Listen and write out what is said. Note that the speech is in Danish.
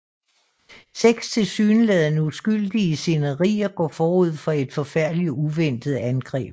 Seks tilsyneladende uskyldige scenarier går forud for et forfærdeligt og uventet angreb